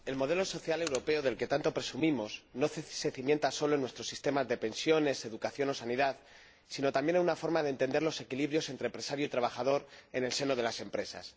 Señor Presidente, el modelo social europeo del que tanto presumimos no se cimienta solo en nuestro sistema de pensiones, educación o sanidad, sino también en una forma de entender los equilibrios entre empresario y trabajador en el seno de las empresas.